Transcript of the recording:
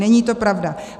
Není to pravda.